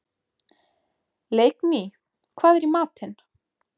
Leikný, hvað er í matinn?